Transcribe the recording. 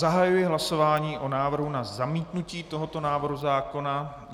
Zahajuji hlasování o návrhu na zamítnutí tohoto návrhu zákona.